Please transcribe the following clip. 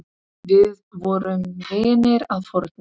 Við vorum vinir að fornu.